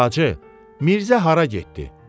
Bacı, Mirzə hara getdi?